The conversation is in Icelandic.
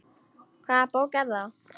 Hvaða bók er það?